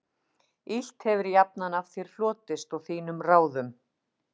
Illt hefir jafnan af þér hlotist og þínum ráðum